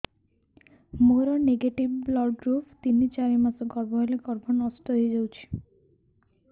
ମୋର negative blood group ତିନ ଚାରି ମାସ ଗର୍ଭ ହେଲେ ଗର୍ଭ ନଷ୍ଟ ହେଇଯାଉଛି